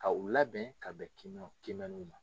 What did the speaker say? K' u labɛn ka bɛn kiimɛniw ma